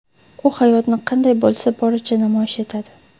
U hayotni qanday bo‘lsa, boricha namoyish etadi.